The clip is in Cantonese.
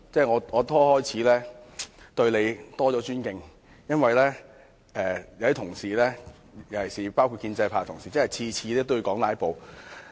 我開始對你有更大尊敬，因為有些同事，包括建制派的同事每次也提到"拉布"。